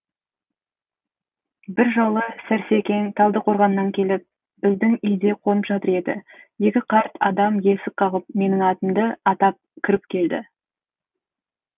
бір жолы сәрсекең талдықорғаннан келіп біздің үйде қонып жатыр еді екі қарт адам есік қағып менің атымды атап кіріп келді